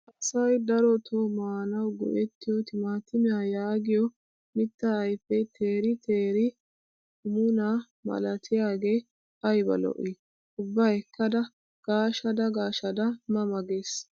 Asayi darotoo maanawu go''ettiyoo timatimiyaa yaagiyoo mittaa ayipee teeri teeri hummunnaa malatiyaagee ayiba lo'ii. Ubba ekkada gaashshada gaashada ma ma ges